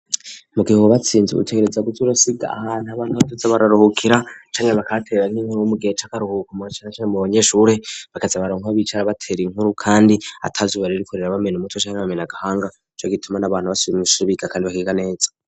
Mu gihe wubatswe inzu utegereza kuza urasiga ahantu abantu baza bararuhukira canke bakatera nk'inkuru mu gihe c'akaruhuko na cane cane abanyeshure bakaza bararonka aho bicara batera inkuru kandi ata zuba ririko ribamena umutwe canke agahanga nico gituma n'abana basubiye mw'ishure biga kandi bagenda neza.